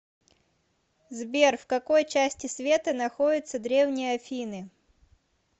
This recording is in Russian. сбер в какой части света находится древние афины